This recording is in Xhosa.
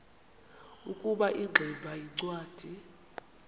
ukuba ingximba yincwadi